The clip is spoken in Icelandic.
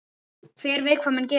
Hver veit hvað mun gerast?